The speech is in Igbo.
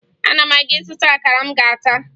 Ana m aga ịzụta akara m ga-ata